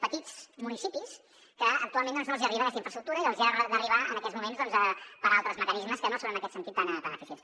petits municipis que actualment no els hi arriba aquesta infraestructura i que els hi ha d’arribar en aquests moments per altres mecanismes que no són en aquest sentit tan eficients